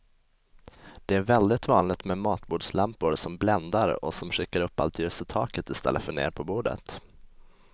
Det är väldigt vanligt med matbordslampor som bländar och som skickar upp allt ljus i taket i stället för ner på bordet.